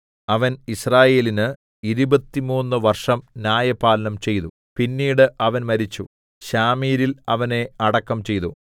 അവൻ യിസ്രായേലിന് ഇരുപത്തുമൂന്നു വർഷം ന്യായപാലനം ചെയ്തു പിന്നീട് അവൻ മരിച്ചു ശാമീരിൽ അവനെ അടക്കം ചെയ്തു